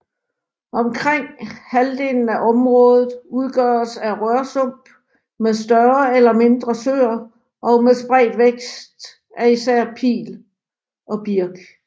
Omkring halvdelen af området udgøres af rørsump med større eller mindre søer og spredt vækst af især pil og birk